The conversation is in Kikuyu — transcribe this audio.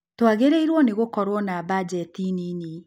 Twagĩrĩirwo nĩ gũkorwo na mbajeti nini